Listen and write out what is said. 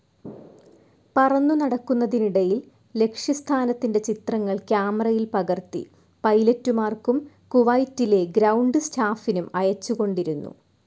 പറന്നു നടക്കുന്നതിനിടയിൽ ലക്ഷ്യസ്ഥാനത്തിന്റെ ചിത്രങ്ങൾ ക്യാമറയിൽ പകർത്തി പൈലറ്റുമാർക്കും കുവൈറ്റിലെ ഗ്രൌണ്ട്‌ സ്റ്റാഫിനും അയച്ചുകൊണ്ടിരുന്നു.